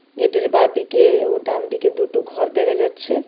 গেটের বাঁদিকে ও ডানদিকে দুটো ঘর দেখা যাচ্ছে.